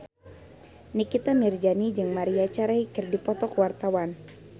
Nikita Mirzani jeung Maria Carey keur dipoto ku wartawan